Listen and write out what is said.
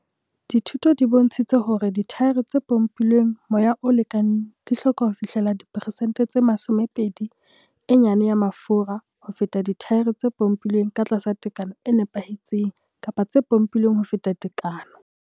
Dithuto di bontshitse hore dithaere tse pompilweng moya o lekaneng di hloka ho fihlela diperesente tse 20 e nyane ya mafura ho feta dithaere tse pompolweng ka tlasa tekano e nepehetseng kapa tse pompilweng ho feta tekano.